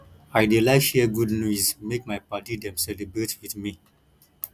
i dey like share good news make my paddy dem celebrate with me